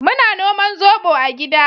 Muna noman zobo a gida